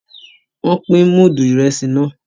Wón pin mudu Ìrẹsí náà